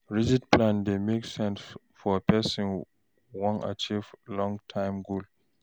Rigid plan dey make sense for person wan achieve long term goal